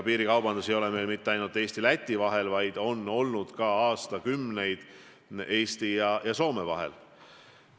Piirikaubandus ei ole mitte ainult Eesti ja Läti vahel, vaid see on aastakümneid olnud ka Eesti ja Soome vahel.